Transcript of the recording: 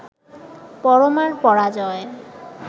পরমার পরাজয়